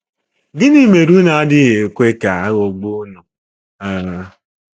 Gịnị mere unu adịghị ekwe ka aghọgbuo unu? um